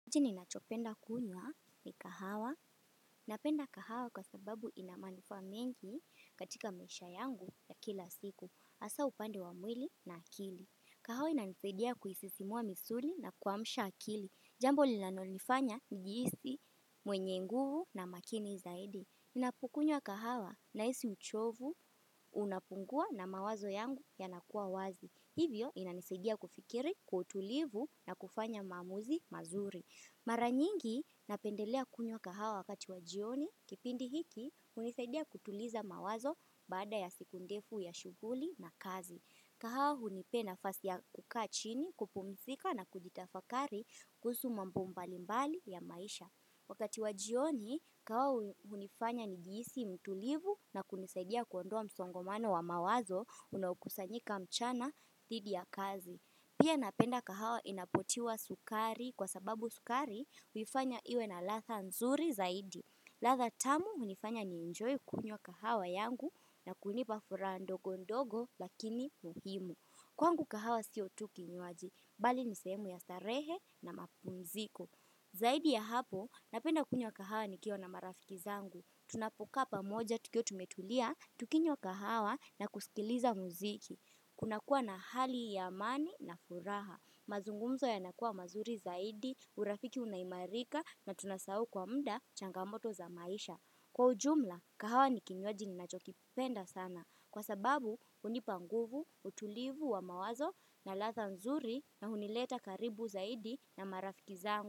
Kitu ninachopenda kunywa ni kahawa. Napenda kahawa kwa sababu inamanufaa mengi katika maisha yangu ya kila siku. Asa upande wa mwili na akili. Kahawa inanisaidia kuisisimua misuli na kuamsha akili. Jambo linanonifanya nijiisi mwenye nguvu na makini zaidi. Ninapokunywa kahawa nahisi uchovu unapungua na mawazo yangu yanakuwa wazi. Hivyo inanisadia kufikiri kwa utulivu na kufanya maamuzi mazuri. Mara nyingi napendelea kunywa kahawa wakati wa jioni, kipindi hiki, unisaidia kutuliza mawazo bada ya siku ndefu ya shughuli na kazi. Kahawa unipea nafasi ya kukaa chini, kupumzika na kujitafakari kuhusu mambo mbalimbali ya maisha. Wakati wa jioni, kahawa unifanya nijihisi mtulivu na kunisaidia kuondoa msongomano wa mawazo unaokusanyika mchana dhidi ya kazi. Pia napenda kahawa inapotiwa sukari kwa sababu sukari huifanya iwe na latha nzuri zaidi. Latha tamu unifanya niejenjoy kunywa kahawa yangu na kunipa furaha ndogo ndogo lakini muhimu. Kwangu kahawa sio tu kinywaji, bali nisehemu ya starehe na mapumziko. Zaidi ya hapo, napenda kunywa kahawa nikiwa na marafiki zangu. Tunapokaa pamoja tukiwa tumetulia, tukinywa kahawa na kusikiliza muziki. Kuna kuwa na hali ya amani na furaha. Mazungumzo yanakuwa mazuri zaidi, urafiki unaimarika na tunasau kwa mda changamoto za maisha. Kwa ujumla, kahawa ni kinywaji ni nacho kipenda sana. Kwa sababu, unipanguvu, utulivu wa mawazo na latha nzuri na hunileta karibu zaidi na marafiki zangu.